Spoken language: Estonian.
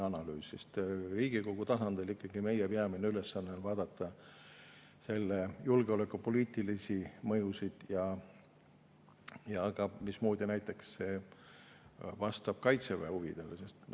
Riigikogu tasandil on meie peamine ülesanne vaadata ikkagi julgeolekupoliitilisi mõjusid ja seda, mismoodi see vastab näiteks Kaitseväe huvidele.